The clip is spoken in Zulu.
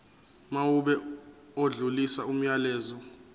mawube odlulisa umyalezo